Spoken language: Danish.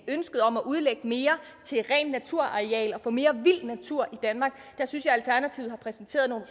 ønsket om at udlægge mere til rent naturareal og få mere vild natur i danmark der synes jeg alternativet har præsenteret nogle